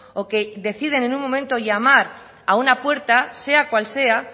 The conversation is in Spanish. o que deciden en un momento llamar a una puerta sea cual sea